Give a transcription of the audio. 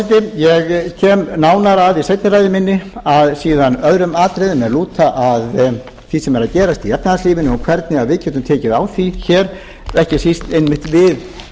forseti ég kem nánar í seinni ræðu minni síðan að öðrum atriðum er lúta að því sem er að gerast í efnahagslífinu og hvernig við getum tekið á því hér ekki síst einmitt